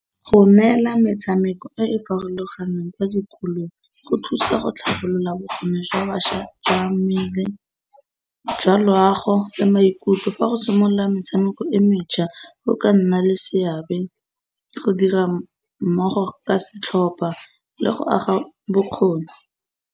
Go neela metshameko e e farologaneng kwa dikolong go thusa go tlhabolola bokgoni jwa bašwa jwa mmele, jwa loago, jwa maikutlo. Fa go simolola metshameko e mentšha go ka nna le seabe go dira mmogo ka setlhopa le go aga bokgoni.